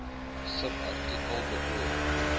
subartikel bedoel